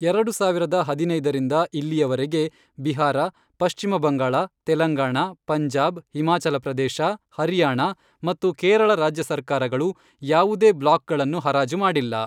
ಎರಡು ಸಾವಿರದ ಹದಿನೈದರಿಂದ ಇಲ್ಲಿಯವರೆಗೆ, ಬಿಹಾರ, ಪಶ್ಚಿಮಬಂಗಾಳ, ತೆಲಂಗಾಣ, ಪಂಜಾಬ್, ಹಿಮಾಚಲಪ್ರದೇಶ, ಹರಿಯಾಣ ಮತ್ತು ಕೇರಳರಾಜ್ಯ ಸರ್ಕಾರಗಳು ಯಾವುದೇ ಬ್ಲಾಕ್ಗಳನ್ನು ಹರಾಜುಮಾಡಿಲ್ಲ.